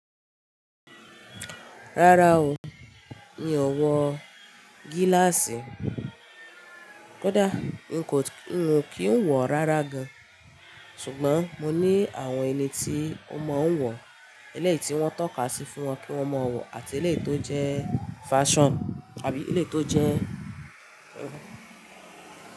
Rárá o, mi ò wọ gíláàsì. Kódà n kò, n ò kí ń wọ̀ rárá gan-an. Ṣùgbọ́n mo ní àwọn eni tí ọmọ ń wọ, eleyi tí wọ́n tọ́ka sí fún wọn kí wọ́n má wọ̀ àti eleyi to jẹ́ fashion àbí eleyi tó jẹ́.